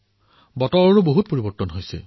বতৰৰো বহু পৰিৱৰ্তন অনুভূত হৈছে